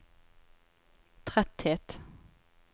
tretthet